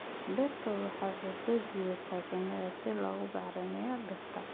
Dhirta ubaxa waxay soo jiitaan shinnida si loogu bacrimiyo dhirta.